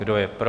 Kdo je pro?